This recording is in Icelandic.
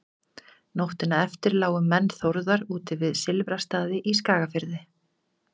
nóttina eftir lágu menn þórðar úti við silfrastaði í skagafirði